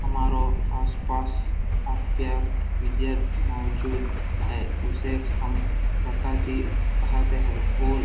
हमारो आसपास विद्यार्थी मौजूद है उसे हम प्रकती कहते है।